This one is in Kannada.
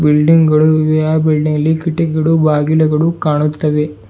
ಬಿಲ್ಡಿಂಗ್ ಗಳು ಇವೆ ಆ ಬಿಲ್ಡಿಂಗ್ ಲಿ ಕೀಟಕಗಳು ಬಾಗಿಲುಗಳು ಕಾಣುತ್ತವೆ.